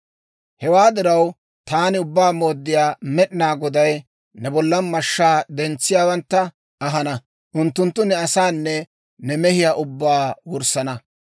Hewaa diraw, taani Ubbaa Mooddiyaa Med'inaa Goday ne bollan mashshaa dentsiyaawantta ahana; unttunttu ne asaanne ne mehiyaa ubbaa wurssana.